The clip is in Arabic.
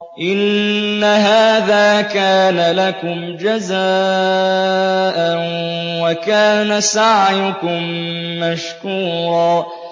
إِنَّ هَٰذَا كَانَ لَكُمْ جَزَاءً وَكَانَ سَعْيُكُم مَّشْكُورًا